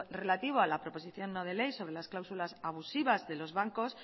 relativo a la proposición no de ley sobre las cláusulas abusivas de los bancos